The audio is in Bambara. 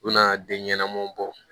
U nana den ɲɛnamaw bɔ